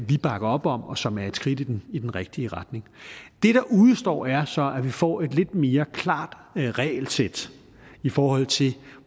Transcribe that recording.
vi bakker op om og som er et skridt i den i den rigtige retning det der udestår er så at vi får et lidt mere klart regelsæt i forhold til